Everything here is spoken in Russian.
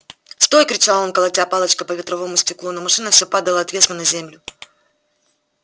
стой кричал он колотя палочкой по ветровому стеклу но машина все падала отвесно на землю